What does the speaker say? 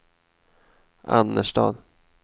Annerstad